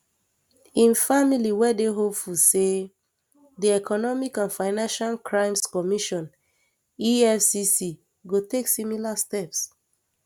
im family we dey hopeful say di economic and financial crimes commission efcc go take similar steps